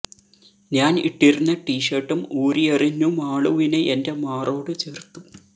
ഞാൻ ഇട്ടിരുന്ന ടി ഷർട്ടും ഊരിയെറിഞ്ഞു മാളുവിനെ എന്റെ മാറോടു ചേർത്തു